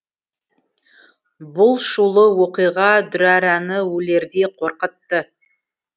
бұл шулы оқиға дүрэрэні өлердей қорқытты